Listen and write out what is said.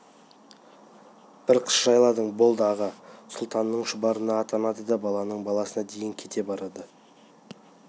бір қыс жайладың болды аға сұлтанның шұбары атанады да балаңның баласына дейін кете барады